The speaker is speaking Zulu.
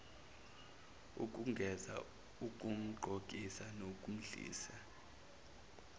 ukumgeza ukumgqokisa nokumdlisa